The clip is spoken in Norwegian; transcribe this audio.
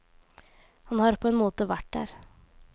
Han har på en måte vært der.